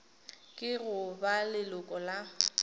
ke go ba leloko la